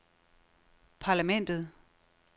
parlamentet